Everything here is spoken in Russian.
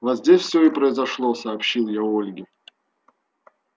вот здесь все и произошло сообщил я ольге